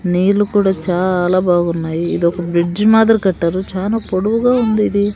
నీళ్ళు కూడా చాలా బాగున్నాయి ఇదొక బ్రిడ్జి మాదిరి కట్టారు చానా పొడువుగా ఉంది ఇది.